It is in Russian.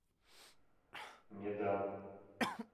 медан